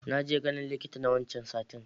Naje ganin likita na wancan satin